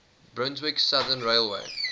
brunswick southern railway